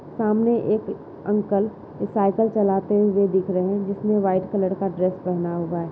सामने एक uncle cycle चलाते हुए दिख रहे हैं। जिसमें व्हाइट कलर का ड्रेस पहना हुआ है।